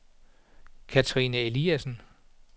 Kathrine Eliasen